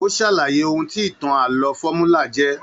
O sàlàyé òhun tí ìtàn ààlọ́ fọmúlà jẹ.